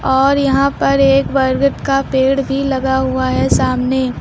और यहां पर एक बरगद का पेड़ भी लगा हुआ है सामने।